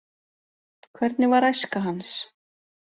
Hvernig var æska hans?